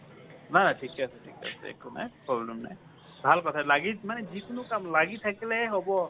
নাই ঠিকে আছে ঠিকে আছে একো নাই , problem নাই। ভাল কথা। লাগি আছে মানে যিকোনো কাম লাগি থাকিলেহে হব।